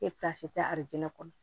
arajo kɔnɔ